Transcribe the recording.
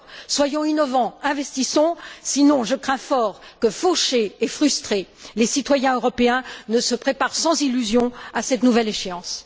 Alors, soyons innovants, investissons, sinon je crains fort que fauchés et frustrés, les citoyens européens ne se préparent sans illusion à cette nouvelle échéance!